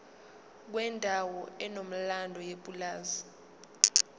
kwendawo enomlando yepulazi